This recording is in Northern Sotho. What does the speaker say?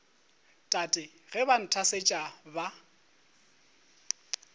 tate ge ba nthasetša ba